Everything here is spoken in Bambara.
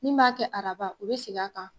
Min b'a kɛ araba o be seg'a kan